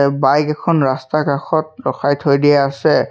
Bike এখন ৰাস্তাৰ কাষত ৰখাই থৈ দিয়া আছে।